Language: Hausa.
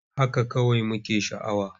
Haka kawai muke sha'awa.